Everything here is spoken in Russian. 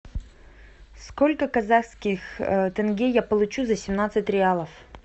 сколько казахских тенге я получу за семнадцать реалов